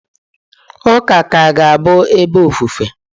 Ụka ka ga-abụ ebe ofufe.